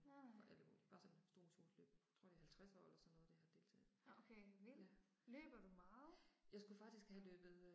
Nej nej. Nå okay, vildt. Løber du meget?